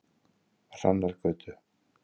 Hrannargötu